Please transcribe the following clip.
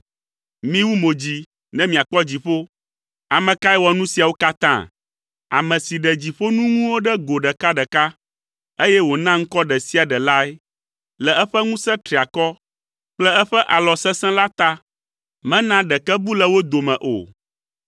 Miwu mo dzi ne miakpɔ dziƒo. Ame ka wɔ nu siawo katã? Ame si ɖe dziƒoŋunuwo ɖe go ɖekaɖeka, eye wòna ŋkɔ ɖe sia ɖe lae. Le eƒe ŋusẽ triakɔ kple eƒe alɔ sesẽ la ta, mena ɖeke bu le wo dome o.